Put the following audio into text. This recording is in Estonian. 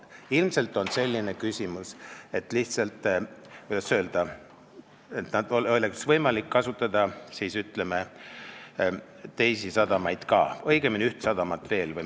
Ilmselt on küsimus selles, et lihtsalt, kuidas öelda, oleks võimalik kasutada teisi sadamaid ka, õigemini üht sadamat veel.